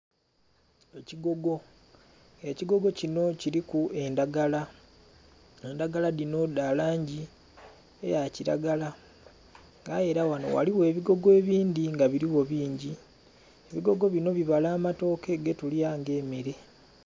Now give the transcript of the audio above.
Ekigogo, ekigogo kinho kiliku endhagala, endhagala dhino dha langi ya kilagala nga aye era ghano ghaligho ebigogo ebindhi nga biligho bingi. Ebigogo binho bibala amatoke ge tulya nga emere.